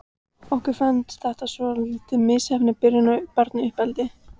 Okkur fannst þetta svolítið misheppnuð byrjun á barnauppeldi.